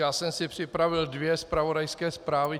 Já jsem si připravil dvě zpravodajské zprávy.